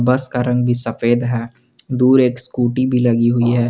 बस का रंग भी सफेद है दूर एक स्कूटी भी लगी हुई है।